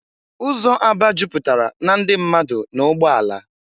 Ụzọ Aba jupụtara na ndị mmadụ na ụgbọ ala.